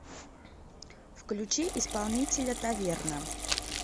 включи исполнителя таверна